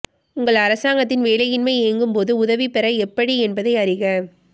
உங்கள் அரசாங்கத்தின் வேலையின்மை இயங்கும்போது உதவி பெற எப்படி என்பதை அறிக